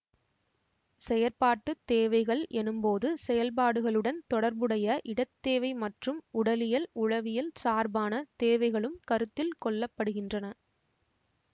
செயற்பாட்டு தேவைகள் எனும்போது செயல்பாடுகளுடன் தொடர்புடைய இடத் தேவை மற்றும் உடலியல் உளவியல் சார்பான தேவைகளும் கருத்தில் கொள்ள படுகின்றன